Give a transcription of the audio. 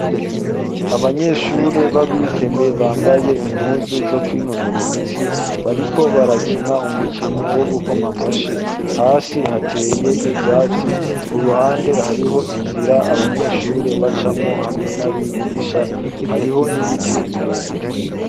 Abanyeshure b'abigeme bambaye impuzu zo ku'inonora imitsi bariko barakina umukino wo gukoma amashi hasi hateye ibyatsi ku ruhande hariho inzira abanyeshure bacamwo hamwe n'abigisha hariho n'ibiti birebere.